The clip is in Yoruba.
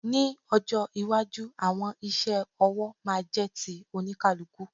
Ní ọjọ́ iwájú, àwọn iṣẹ́ ọwọ́ máa jẹ́ ti oníkálukú.